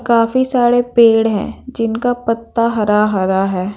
काफी सारे पेड़ हैं जिनका पत्ता हरा-हरा है।